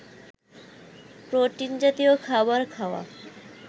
protein জাতীয় খাবার খাওয়া